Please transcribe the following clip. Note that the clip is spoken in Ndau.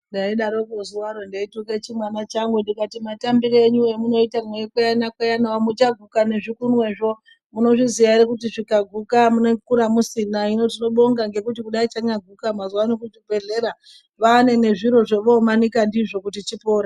Ndaidaroko zuwaro ndeituke chimwana changu ndikati matambire emunoita meikweyana kweyana muchaguka nezvikunwezvo. Munozviziya ere kuti zvikaguka munokura musina. Hino tinobonga kudai chanyaguka mazuwano kuchibhehlera vane nezviro zvovomanika ndizvo kuti chipore.